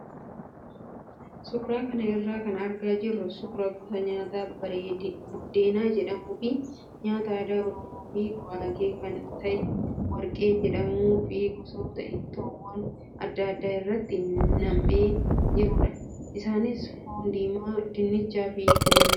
Suuraa kana irraa kan argaa jirru suuraa gosa nyaataa buddeena jedhamuu fi nyaata aadaa oromoo fi guraagee kan ta'e warqee jedhamuu fi gosoota ittoowwan adda addaa irratti nam'ee jirudha. Isaanis foon diimaa, dinnichaa fi kanneen biroo